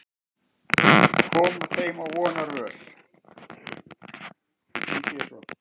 Koma þeim á vonarvöl.